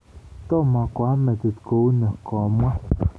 Tomo koama metit kouni, komwa.